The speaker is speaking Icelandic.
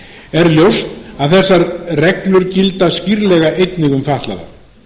er ljóst að þessar reglur gilda skýrlega einnig um fatlaða